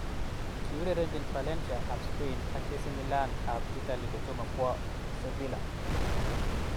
Kiurerenjin Valencia ab Spain ak AC Milan ab Italy kotomo kowo Sevilla.